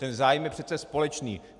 Ten zájem je přece společný.